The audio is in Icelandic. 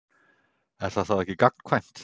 Er það þá ekki gagnkvæmt?